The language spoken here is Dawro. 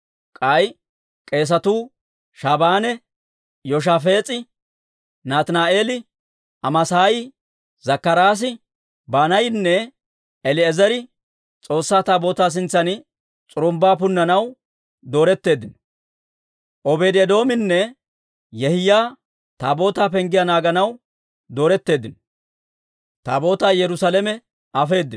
K'ay k'eesatuu Shabaanee, Yoshafaas'i, Nataani'eeli, Amaasaayi, Zakkaraasi, Banaayinne El"eezeri S'oossaa Taabootaa sintsan s'urumbbaa punnanaw dooretteeddino. Obeedi-Eedoominne Yehiyaa Taabootaa penggiyaa naaganaw dooretteeddino.